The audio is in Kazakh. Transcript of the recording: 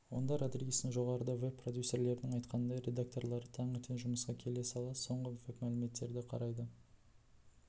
онда родригестің жоғарыда веб продюсерлердің айтқанындай редакторлары таңертең жұмысқа келе сала соңғы веб-мәліметтерді қарайды